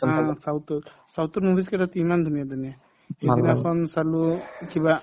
অ, south ত south ৰ movies কেইটাতো ইমান ধুনীয়া ধুনীয়া সেইদিনাখন চালো এহ্ কিবা